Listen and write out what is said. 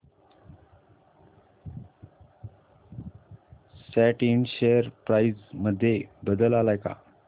सॅट इंड share price मध्ये बदल आलाय का